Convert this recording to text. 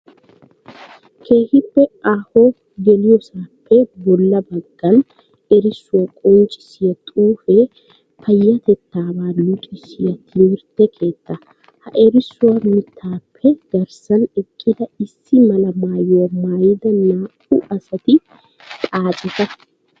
Keehippe aaho geliyoosappe bolla bagan erissuwa qonccissiya xuufe payyatettabaa luxisiyo timirtte keetta. Ha erisuwa mittappe garssan eqqida issi mala maayuwa maayida naa"u asati xaacetta.